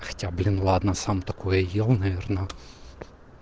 хотя блин ладно сам такое ел наверное